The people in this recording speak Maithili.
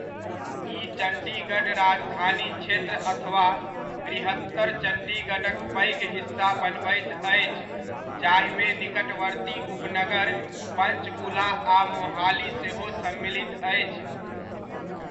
ई चण्डीगढ़ राजधानी क्षेत्र अथवा वृहत्तर चण्डीगढ़क पैघ हिस्सा बनबैत अछि जाहिमे निकटवर्ती उपनगर पञ्चकुला आ मोहाली सेहो सम्मिलित अछि।